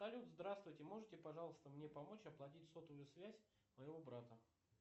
салют здравствуйте можете пожалуйста мне помочь оплатить сотовую связь моего брата